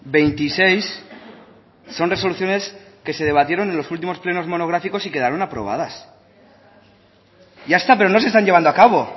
veintiséis son resoluciones que se debatieron en los últimos plenos monográficos y quedaron aprobadas ya está pero no se están llevando a cabo